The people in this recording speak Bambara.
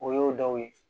O y'o dɔw ye